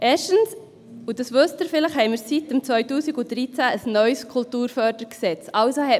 Erstens, und das wissen Sie vielleicht, haben wir seit 2013 ein neues Kantonales Kulturförderungsgesetz (KKFG).